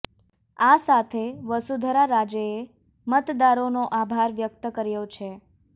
આ સાથે વસુધરા રાજેએ મતદારોનો આભાર વ્યક્ત કર્યો છે